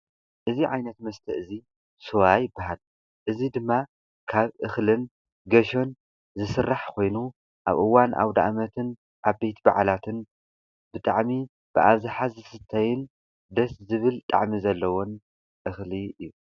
እዚ ዓይነት መስተ እዙይ ስዋ ይብሃል። እዚ ድማ ካብ እክልን ገይሾን ዝስራሕ ኮይኑ ኣብ እዋን ኣውዳኣሞትን ዓበይቲ ባዓላትን ብጣዕሚ ብኣብዛሓ ዝስተ ደስ ዝብል ጣዕሚ ዘለዎን እክሊ እዩ።